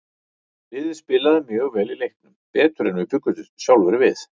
Liðið spilaði mjög vel í leiknum, betur en við bjuggumst sjálfir við.